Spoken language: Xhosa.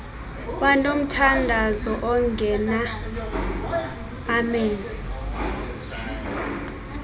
banomthandazo ongena amen